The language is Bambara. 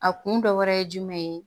A kun dɔ wɛrɛ ye jumɛn ye